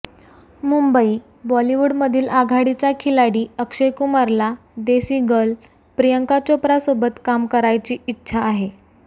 मुंबईः बॉलिवूडमधील आघाडीचा खिलाडी अक्षय कुमारला देसी गर्ल प्रियंका चोप्रासोबत काम करायची इच्छा आहे